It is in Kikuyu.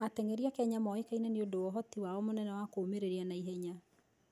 Athaki a Kenya moĩkaine nĩ ũndũ wa ũhoti wao mũnene wa kũũmĩrĩria na ihenya.